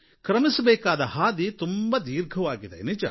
ಕ್ರಮಿಸಬೇಕಾದ ಹಾದಿ ತುಂಬಾ ದೀರ್ಘವಾಗಿದೆ ನಿಜ